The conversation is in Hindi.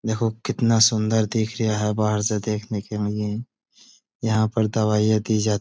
देखो कितना सुंदर दिखरिया है बाहर से देखने के लिए यहाँ पर दवाईयां दी जा --